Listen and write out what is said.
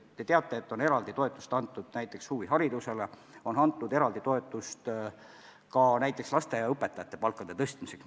Te teate, et on eraldi toetust antud näiteks huviharidusele, on antud eraldi toetust lasteaiaõpetajate palkade tõstmiseks.